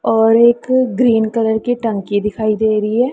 और एक green colour की टंकी दिखाई दे रही है।